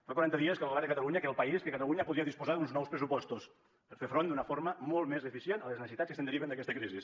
fa quaranta dies que el govern de catalunya que el país que catalunya podria disposar d’uns nous pressupostos per a fer front d’una forma molt més eficient a les necessitats que es deriven d’aquesta crisi